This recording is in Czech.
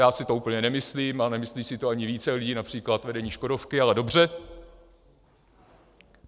Já si to úplně nemyslím, ale nemyslí si to ani více lidí, například vedení Škodovky, ale dobře.